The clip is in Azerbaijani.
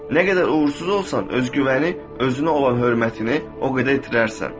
Nə qədər uğursuz olsan, öz güvəni, özünə olan hörmətini o qədər itirərsən.